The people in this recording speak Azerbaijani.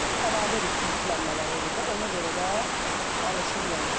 Əlavə yüklənmələri olur da, ona görə də alışır yanıır.